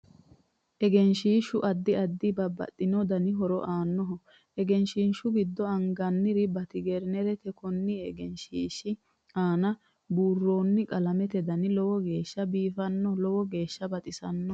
Egenshiishu addi addi babbaxitino horo aanoho egrshiishu giddo angannori baatignererti konni egenshiishi aanna buurooni qalameti dani lowo geeshs biifannona lowo geesha baxisanno